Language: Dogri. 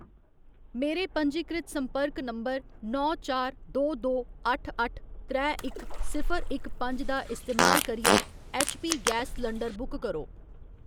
मेरे पंजीकृत संपर्क नंबर नौ चार दो दो अट्ठ अट्ठ त्रै इक सिफर इक पंज दा इस्तेमाल करियै ऐच्चपी गैस सलंडर बुक करो।